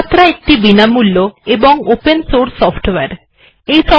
Sumatra ও বিনামূল্য এবং ওপেন সোর্স সফটওয়ারে